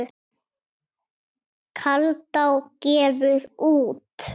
Kaldá gefur út.